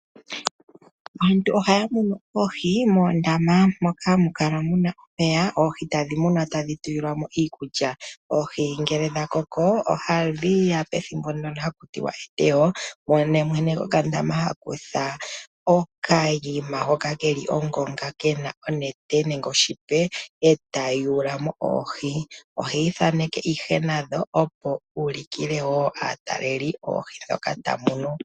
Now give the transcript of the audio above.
Aantu ohaya munu oohi moondama moka hamu kala muna omeya oohi tadhi mumwa tadhi tulilwamo iiikulya .Oohi ngele dha koko ohadhiya pethimbo ndono hakutiwa eteyo, mono mwene gwokandama hakutha okanima hoka keli ongonga kena onete nenge oshipe eta yulamo oohi ,ohi ithaneke ihe nadho opo u ulikile woo aataleli oohi ndhoka tamunu.